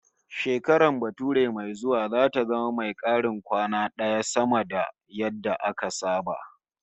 Shekarar bature mai zuwa zata zama mai karin kwana daya sama da yadda aka saba